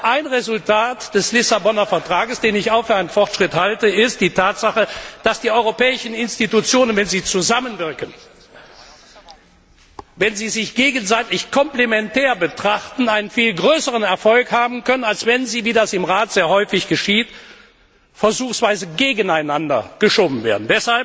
Ein Resultat des Vertrags von Lissabon den ich auch für einen Fortschritt halte ist die Tatsache, dass die Europäischen Institutionen, wenn sie zusammenwirken, wenn sie sich als gegenseitig komplementär betrachten, einen viel größeren Erfolg haben können, als wenn sie wie das im Rat sehr häufig geschieht versuchsweise gegeneinander geschoben werden.